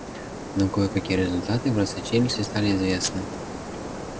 но кое-какие результаты просочились и стали известны